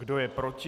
Kdo je proti?